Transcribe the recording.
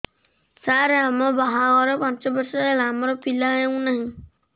ସାର ଆମ ବାହା ଘର ପାଞ୍ଚ ବର୍ଷ ହେଲା ଆମର ପିଲା ହେଉନାହିଁ